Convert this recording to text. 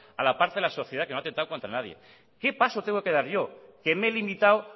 a la parte de la sociedad que no ha atentado contra nadie qué paso tengo que dar yo que me he limitado